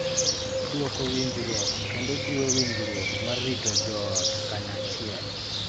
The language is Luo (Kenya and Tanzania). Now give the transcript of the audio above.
Dwoko winjruok kendo jiwo winjruok ma rito joot kanyachiel.